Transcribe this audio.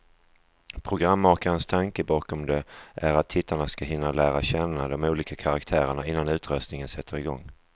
Programmakarnas tanke bakom det är att tittarna ska hinna lära känna de olika karaktärerna, innan utröstningen sätter igång.